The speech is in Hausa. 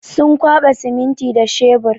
Sun kwaɓa siminti da shebur.